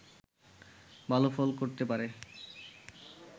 ভালো ফল করতে পারে